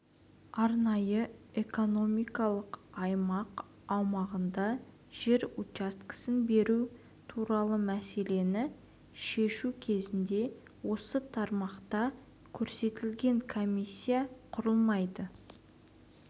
арнайы экономикалық аймақ аумағында жер учаскесін беру туралы мәселені шешу кезінде осы тармақта көзделген комиссия құрылмайды